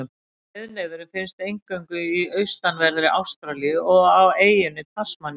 Breiðnefurinn finnst eingöngu í austanverðri Ástralíu og á eyjunni Tasmaníu.